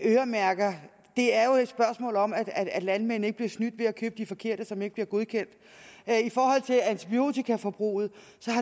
øremærker er jo et spørgsmål om at at landmændene ikke bliver snydt ved at købe de forkerte mærker som ikke bliver godkendt i forhold til antibiotikaforbruget